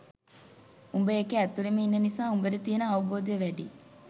උඹ ඒකේ ඇතුලෙම ඉන්න නිසා උඹට තියෙන අවබෝධය වැඩියි